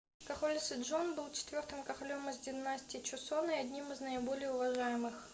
король седжон был четвёртым королем из династии чосон и одним из наиболее уважаемых